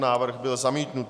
Návrh byl zamítnut.